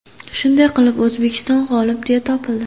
Shunday qilib, O‘zbekiston g‘olib deya topildi.